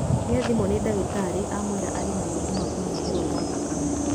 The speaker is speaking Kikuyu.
Nĩathimwo nĩ dagĩtarĩ amũĩra arĩ na mũrimũ wa kũnyihĩrwo gwa thakame